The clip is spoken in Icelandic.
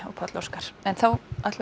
Páll Óskar ætlar að